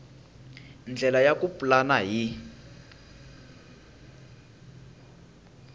ndlela ya ku pulana hi